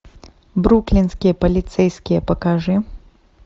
бруклинские полицейские покажи